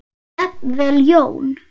Jafnvel Jón